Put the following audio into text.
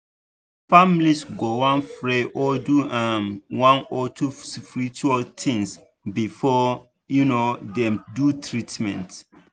some families go wan pray or do um one or two spiritual things before um dem do treatment.